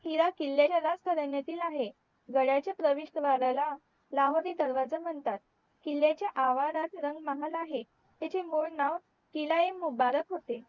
गडाच्या प्रविष्ट भागाला लाहोरी दरवाजा म्हणतात किल्याच्या आवारात रंग महाल आहे त्याचे मूळ नाव किलयेमुबारक होते